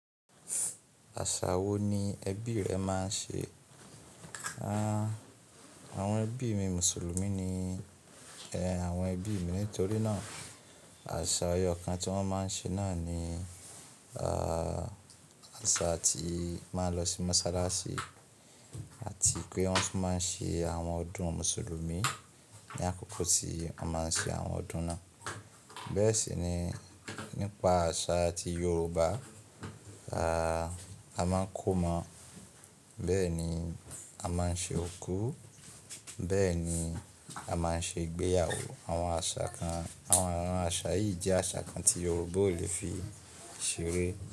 Àṣà wo ni ẹbí rẹ máa ń ṣe? Àwọn ẹbí mi Mùsùlùmí ni, àwọn ẹbí mi. Nítorí náà àṣà ẹyọ kan tí wọ́n máa ń ṣe náà ni, àṣà tí máa ń lọ sí mọ́sálásí àti pé wọ́n tún máa ń ṣe àwọn ọdún Mùsùlùmí. Ni àkókò tí wọ́n máa ń ṣe àwọn ọdún náà. Bẹ́ẹ̀ sì ni nípa àṣà ti Yoruba, ẹ́, a máa ń kómọ, bẹ́ẹ̀ ni a máa ń ṣe òkú, bẹ́ẹ̀ ni a máa ń ṣe ìgbéyàwó. Àwọn àṣà kan, àwọn ìran àṣà yìí jẹ́ àṣà kan tí Yoruba ò lè fi ṣeré.